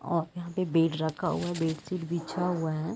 और यहाँ पे बेड रखा हुआ है। बेडशीट बिछा हुआ है।